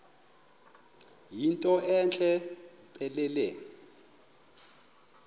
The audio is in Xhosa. yinto entle mpelele